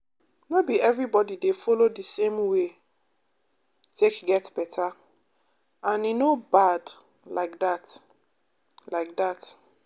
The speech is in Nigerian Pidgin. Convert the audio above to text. no be everybody dey follow the same way take get better — and e no bad like that. like that.